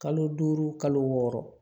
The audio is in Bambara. Kalo duuru kalo wɔɔrɔ